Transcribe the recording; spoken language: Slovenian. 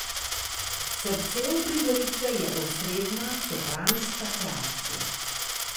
Srce uprizoritve je osrednja sopranska kreacija.